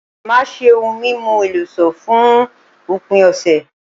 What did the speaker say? Màá ṣé ohun mímu eléso fún òpin ọ̀sẹ̀